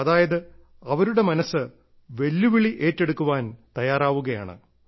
അതായത് അവരുടെ മനസ്സ് വെല്ലുവിളി ഏറ്റെടുക്കുവാൻ തയ്യാറാവുകയാണ്